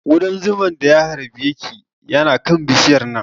Ƙudan zuman da ya harbe ki yana kan bishiyar nan